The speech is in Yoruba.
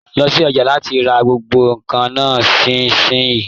Lọ sí ọjà láti rà gbogbo nkan náà nisinyi!